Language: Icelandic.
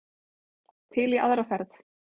Til í aðra ferð.